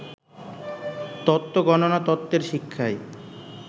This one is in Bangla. তত্ত্ব গণনা তত্ত্বের শিক্ষায়